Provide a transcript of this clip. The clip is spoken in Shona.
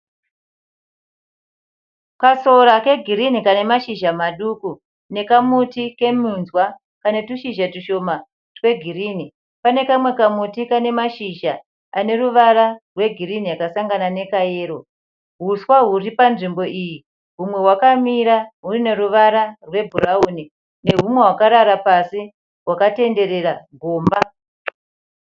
Kasora ke girini Kane mashizha maduku. Nekamuti keminzwa kana tushizha tushoma twe girini. Pane kamwe kamuti Kane mashizha ane ruwara rwe girini yakasangana nekayero. Huswa huri panzvimbo iyi humwe hwakamira huine ruwara rwe bhurauni ne humwe hwakarara hwakatendererera gomba.